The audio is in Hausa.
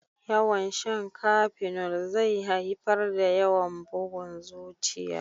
Yawan shan kafenol zai haifar da yawan bugun zuciya